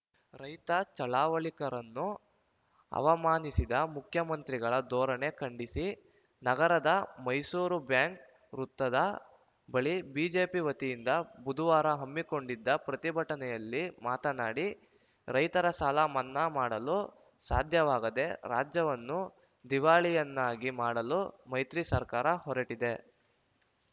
ರೈತ ಚಳವಳಿಕರನ್ನು ಅವಮಾನಿಸಿದ ಮುಖ್ಯಮಂತ್ರಿಗಳ ಧೋರಣೆ ಖಂಡಿಸಿ ನಗರದ ಮೈಸೂರು ಬ್ಯಾಂಕ್‌ ವೃತ್ತದ ಬಳಿ ಬಿಜೆಪಿ ವತಿಯಿಂದ ಬುಧವಾರ ಹಮ್ಮಿಕೊಂಡಿದ್ದ ಪ್ರತಿಭಟನೆಯಲ್ಲಿ ಮಾತನಾಡಿ ರೈತರ ಸಾಲ ಮನ್ನಾ ಮಾಡಲು ಸಾಧ್ಯವಾಗದೆ ರಾಜ್ಯವನ್ನು ದಿವಾಳಿಯನ್ನಾಗಿ ಮಾಡಲು ಮೈತ್ರಿ ಸರ್ಕಾರ ಹೊರಟಿದೆ